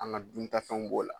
An ga duntafɛnw b'o la